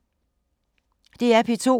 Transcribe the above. DR P2